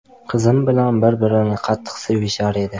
Qizim bilan bir-birini qattiq sevishar edi.